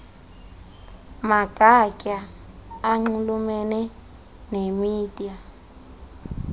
magatya anxulumene nemida